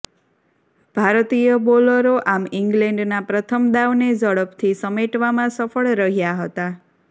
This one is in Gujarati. ભારતીય બોલરો આમ ઈંગ્લેન્ડના પ્રથમ દાવને ઝડપથી સમેટવામાં સફળ રહ્યા હતા